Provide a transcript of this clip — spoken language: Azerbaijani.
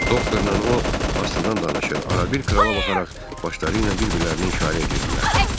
Doktorla o astadan danışır, arabir krala baxaraq başları ilə bir-birlərinə işarə edirdilər.